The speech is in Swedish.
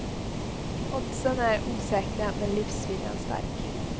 Oddsen är osäkra men livsviljan stark.